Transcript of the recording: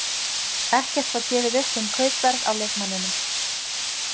Ekkert var gefið upp um kaupverð á leikmanninum.